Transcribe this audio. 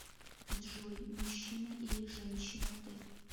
джой мужчина или женщина ты